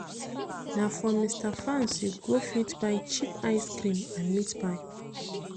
Na for Mr Fans you go fit buy cheap ice cream and meat pie.